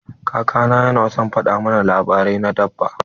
Kaka na yana son fada mana labarai na dabba.